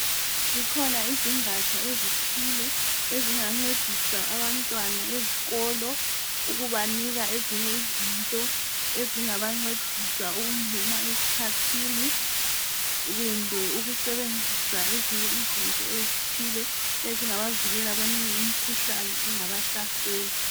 Zikhona izigatsha ezithile ezingancedisa abantwana ezikolo ukubanika ezinye izinto ezingabancedisa ukungena esikhathini kumbe ukusebenzisa ezinye izinto ezithile ezingabavikela kweminye imikhuhlane engabahlasela.